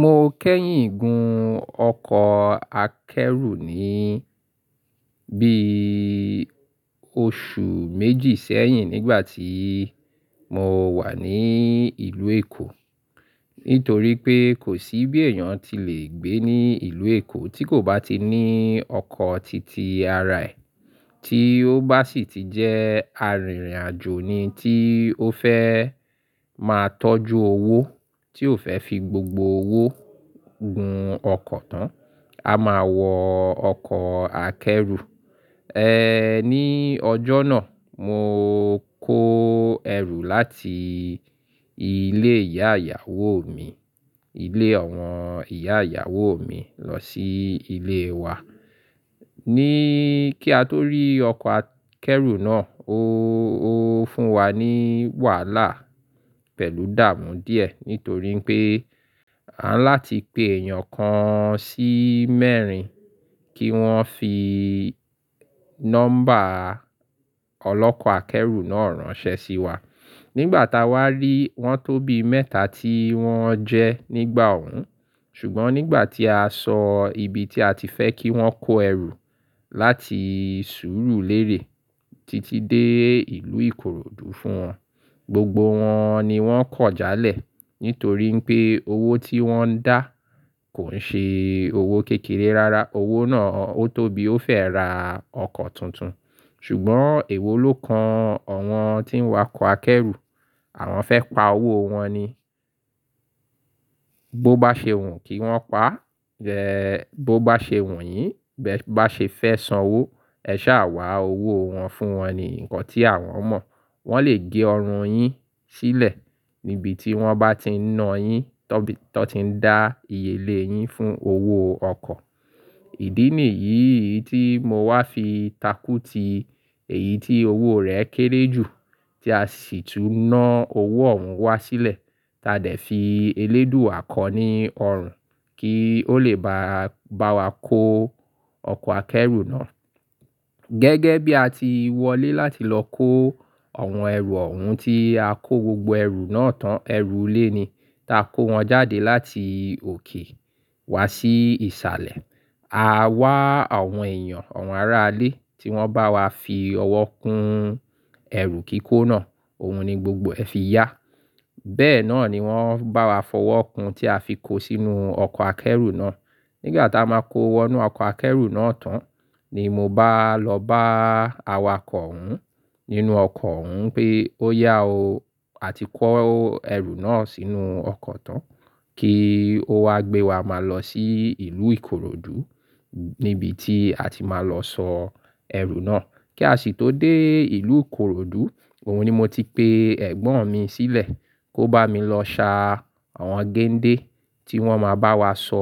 Mo kẹ́yìn gun ọkọ̀ akẹ́rù ní bí oṣù méjì sẹ́yìn nígbà tí mo wà ní ìlú Èkó. Nítorí pé kò sí bí èèyàn ti lè gbé ní ìlú Èkó tí kò bá ti ní ọkọ̀ titi ara ẹ̀, tí ó bá sì ti jẹ́ arìnrìn-àjò ni tí ó fẹ́ máa tọ́jú owó, tí ò fẹ́ fi gbogbo owó gun ọkọ̀ tán. A máa wọ ọkọ̀ akẹ́rù. Ní ọjọ́ náà mo kó ẹrù láti ilé ìyá ìyàwó mi, ilé àwọn ìyá ìyàwó mi lọ sí ilé wa. Ní kí a tó rí ọkọ̀ akẹ́rù náà ó, ó fún wa ní wàhálà pẹ̀lú dààmú díẹ̀ nítorí pé a ńlá ti pe èèyàn kan sí mẹ́rin kí wọ́n fi nọ́mbà ọlọ́kọ̀ akẹ́rù náà ránṣẹ́ sí wa. Nígbà tá wá rí, wọ́n tóbi mẹ́ta tí wọ́n jẹ́ nígbà òun. Ṣùgbọ́n nígbà tí a sọ ibi tí a ti fẹ́ kí wọ́n kó ẹrù láti Surulere titi dé ìlú Ìkoròdú fún wọn, gbogbo wọn ni wọ́n kọ̀já lẹ̀ nítorí pé owó tí wọ́n ń dá kò nṣe owó kékeré rárá. Owó náà ó tó bi ó fẹ́ ra ọkọ̀ tuntun. Ṣùgbọ́n èwo ló kan àwọn tí ń wa kọ́ akẹ́rù. Àwọn fẹ́ pa owó wọn ni. Bo bá ṣe wun kí wọ́n pa, bo bá ṣe wunyín bẹ́ bá ṣe fẹ́ san owó, ẹ ṣá wá owó wọn fún wọn ni nǹkan tí àwọn mọ̀. Wọ́n lè gé ọrùn yín sílẹ̀ níbi tí wọ́n bá ti na yín, tọ́n ti n dá ìyèlé yín fún owó ọkọ̀. Ìdí nìyí tí mo wá fi takú ti èyí tí owó rẹ̀ kéré jù tí a sì tún ná owó òun wá sílẹ̀. Tádẹ̀ fi eléèdúà kọ́ ní ọrùn kí ó lè bá, bá wa kó ọkọ̀ akẹ́rù náà. Gẹ́gẹ́ bí a ti wọlé láti lọ kó àwọn ẹrù òun tí a kó gbogbo ẹrù náà tán, ẹrù ilé ni ta kó wọn jáde láti òkè wá sí ìsàlẹ̀. A wá àwọn èèyàn, àwọn aráalé tí wọ́n bá wa fi ọwọ́ kun ẹ̀rù kíkó náà. Ohun ni gbogbo ẹ fi yá. Bẹ́ẹ̀ náà ni wọ́n bá wa fọwọ́ kun tí a fi kó sínú ọkọ̀ akẹ́rù náà. Nígbà tá a máa kó wọnú ọkọ̀ akẹ́rù náà tán ni mo bá lọ bá awakọ̀ òun nínú ọkọ̀ òun pé ó yá o, a ti kó ẹrù náà sínú ọkọ̀ tán kí ó wá gbé wa máa lọ sí ìlú Ìkoròdú níbi tí a ti máa lọ sọ ẹrù náà. Kí a sì tó dé ìlú Ìkoròdú, òun ni mo ti pe ẹ̀gbọ́n mi sílẹ̀ kó bá mi lọ ṣá àwọn gẹ́ńdé tí wọ́n máa bá wa sọ